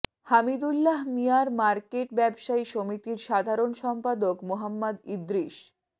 Hamidullah Miah market ব্যবসায়ী সমিতির সাধারণ সম্পাদক মোহাম্মদ ইদ্রিস